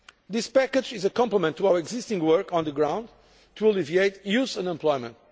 This package is a complement to our existing work on the ground to alleviate youth unemployment.